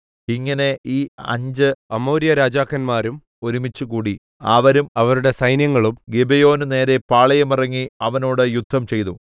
ഇങ്ങനെ ഈ അഞ്ച് അമോര്യരാജാക്കന്മാരും ഒരുമിച്ചുകൂടി അവരും അവരുടെ സൈന്യങ്ങളും ഗിബെയോന് നേരെ പാളയം ഇറങ്ങി അതിനോട് യുദ്ധംചെയ്തു